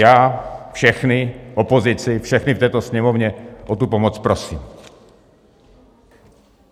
Já všechny, opozici, všechny v této Sněmovně o tu pomoc prosím.